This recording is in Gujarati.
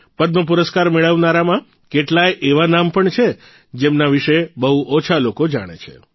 પદ્મપુરસ્કાર મેળવનારામાં કેટલાય એવા નામ પણ છે જેમના વિશે બહુ ઓછા લોકો જામે છે